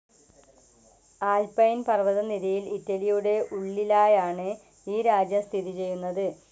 Alpine പർവ്വതനിരയിൽ ഇറ്റലിയുടെ ഉള്ളിലായാണ് ഈ രാജ്യം സ്ഥിതി ചെയ്യുന്നത്.